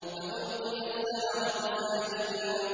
فَأُلْقِيَ السَّحَرَةُ سَاجِدِينَ